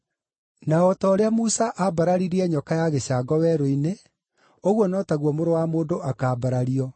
Na o ta ũrĩa Musa aambararirie nyoka ya gĩcango werũ-inĩ, ũguo no taguo Mũrũ wa Mũndũ akaambarario,